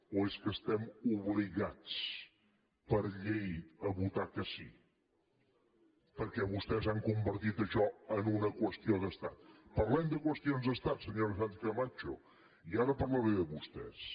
o és que estem obligats per llei a votar que sí perquè vostès han convertit això en una qüestió d’estat parlem de qüestions d’estat senyora sánchez camacho i ara parlaré de vostès